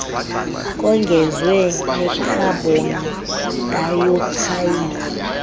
kongezwe nekhabhon dayoksayidi